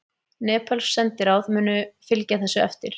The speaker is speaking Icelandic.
Nepölsk sendiráð munu fylgja þessu eftir